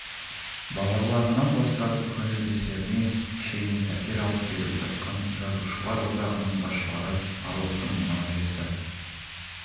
балаларынан бастап көңілдестеріне шейін пәтер алып беріп жатқан жазушылар одағының басшылары аруақтан мынау жесір